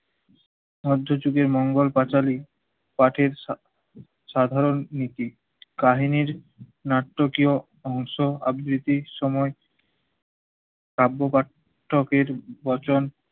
মধ্যযুগে মঙ্গল পাঁচালী কাঠের সা~ সাধারণ নীতি। কাহিনির নাটকীয় অংশ আবৃত্তির সময় কাব্য কাথ~ থকের বচন